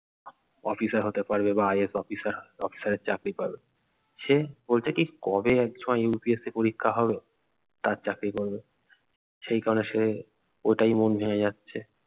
officer হতে পারবে বা IPS অফিসার অফিসারের চাকরি পাবে সে বলছে কি কবে UPSC পরীক্ষা হবে তার চাকরি করবে সেই কারনে সে ওটাই মন ভেঙে যাচ্ছে